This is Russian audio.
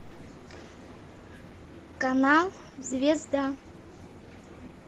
канал звезда